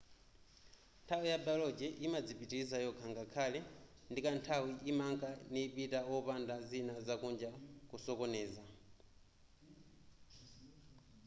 nthawi ya biology yimadzipitiliza yokha ngakhale ndikanthawi imanka nipita wopanda zina zakunja kusokoneza